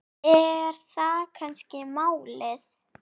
Er það kannski málið?